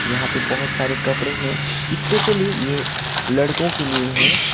यहां पे बहोत सारे कपड़े हैं स्पेशली ये लड़कों के लिए है।